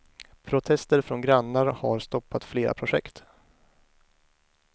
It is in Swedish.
Protester från grannar har stoppat flera projekt.